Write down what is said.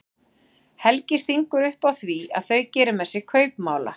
Helgi stingur upp á því að þau geri með sér kaupmála.